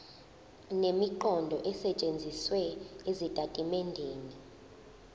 nemiqondo esetshenzisiwe ezitatimendeni